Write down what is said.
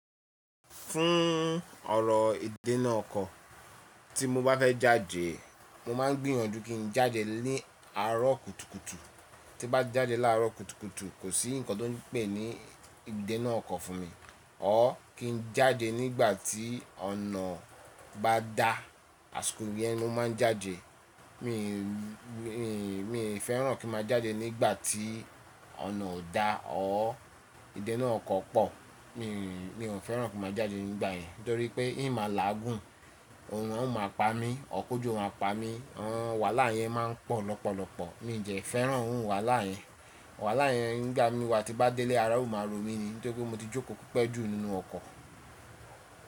Fún ọrọ̀ ìdénà ọkọ̀, tí mo bá fẹ́ jáde, mo máa gbìyànjú kí n jáde ní àárọ̀ kùtùkùtù. Tí bá jáde láàárọ̀ kùtùkùtù, kò sí nǹkan tó pè ní ìdénà ọkọ̀ fún mi. Or kí n jáde nígbà tí ọ̀nà bá da, àsìkò yẹn ni mo máa n jáde. Mi n fẹ́ràn kí ma jáde nígbà tí ọ̀nà ò da or ìdénà ọkọ̀ pọ̀. Mi ò fẹ́ràn kí ma jáde nígbà yẹn torí pé ìma láàgùn, òòrùn a máa pa mí, or kójò maa pa mí, àwọn wàhálà yẹn máa ń pọ̀ lọ́pọ̀lọpọ̀. Mi dẹ fẹ́ràn iru wàhálà yẹn. Wàhálà yẹn nígbà mí wá tí bá délé àára ó ma rò mí ni nítorí pé mo ti jókòó pẹ́ẹ́ jù nínú ọkọ̀.